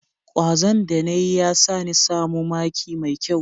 Kwazon da na yi ya sa ni samu maki mai kyau.